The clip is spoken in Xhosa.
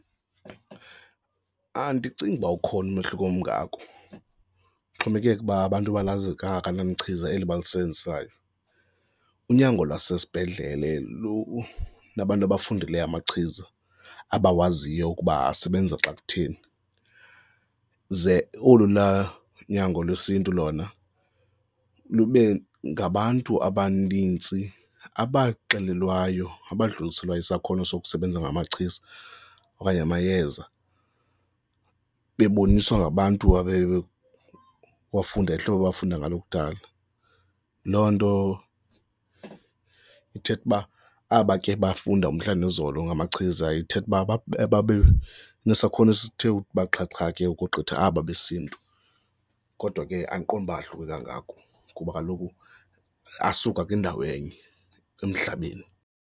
Andicingi ukuba ukhona umehluko. Omgako kuxhomekeke uba abantu balazi kangakanani na ichiza eli bayisebenzisayo. Unyango lwasesibhedlele lunabantu abafundileyo amachiza abawaziyo ukuba asebenze xa kutheni, ze olu laa unyango lwesiNtu lona lube ngabantu abanintsi abaxelelwayo, abadluliselwayo isakhono sokusebenza ngamachiza okanye amayeza, beboniswa ngabantu abafunda ngohlobo abafunda ngalo kudala. Loo nto ithetha uba aba ke bafunda umhla nezolo ngamachiza ethitha uba nesakhono esithe uba xhaxha ke ukogqitha aba besiNtu kodwa ke andiqondi uba ahluke kangako kuba kaloku asuka kwindawo enye emhlabeni.